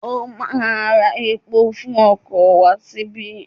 Ó ma ra epo fún okò wá síbí.